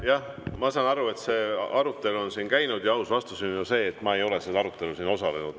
Jah, ma saan aru, et see arutelu on siin käinud, ja aus vastus on see, et ma ei ole sellel arutelul osalenud.